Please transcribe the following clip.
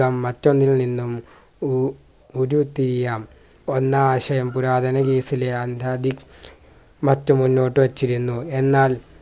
മറ്റൊന്നിൽ നിന്നും ഉ ഉരുതിയാം ഒന്നാശയം പുരാതന മറ്റ് മുന്നോട്ടു വെച്ചിരുന്നു എന്നാൽ